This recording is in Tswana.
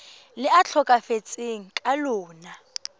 le a tlhokafetseng ka lona